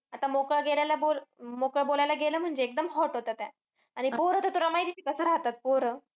आता मोकळा गेलेला बोल, मोकळं बोलायला गेलं म्हणजे एकदम hot होत्या त्या. आणि पोरं तर तुला माहिती आहे कसं राहतात, पोरं.